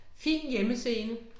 Fin hjemmescene